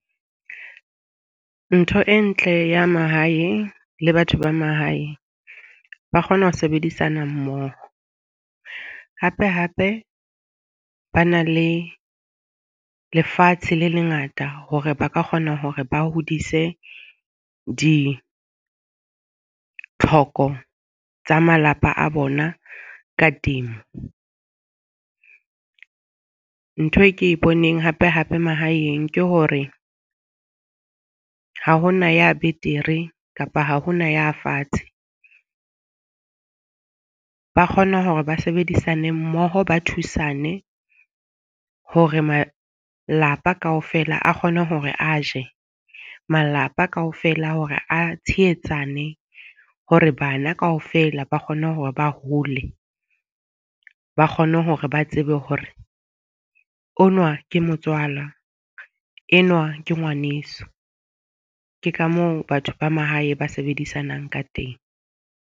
Ntho e ntle ya mahaeng le batho ba mahaeng ba kgona ho sebedisana mmoho. Hape, hape ba na le lefatshe le lengata hore ba ka kgona hore ba hodise ditlhoko tsa malapa a bona ka temo. Ntho e ke e boneng hape hape mahaeng ke hore ha ho na ya betere kapa ha hona ya fatshe. Ba kgona hore ba sebedisane mmoho, ba thusane hore malapa kaofela a kgone hore a je. Malapa kaofela hore a tshehetsane hore bana kaofela ba kgone hore ba hole, ba kgone hore ba tsebe hore o nwa ke motswala enwa ke ngwaneso. Ke ka moo batho ba mahae ba sebedisanang ka teng.